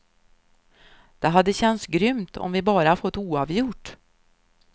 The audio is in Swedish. Det hade känts grymt om vi bara fått oavgjort.